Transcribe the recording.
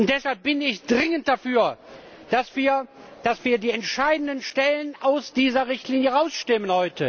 Deshalb bin ich dringend dafür, dass wir die entscheidenden Stellen heute aus dieser Richtlinie herausstimmen.